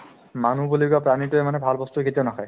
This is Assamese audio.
মানুহ বুলি কোৱা প্ৰাণীতোয়ে মানে ভাল বস্তু কেতিয়াও নাখায়